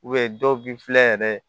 dɔw bi filɛ yɛrɛ